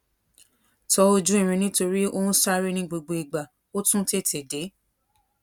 tọ ojú irin nítorí ó ń sáré ní gbogbo ìgbà ó tún tètè déé